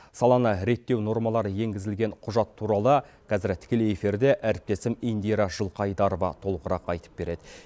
саланы реттеу нормалары енгізілген құжат туралы қазір тікелей эфирде әріптесім индира жылқайдарова толығырақ айтып береді